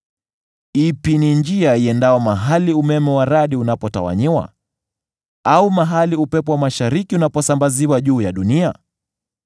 Ni ipi njia iendayo mahali umeme wa radi unapotawanyiwa, au mahali upepo wa mashariki unaposambaziwa juu ya dunia?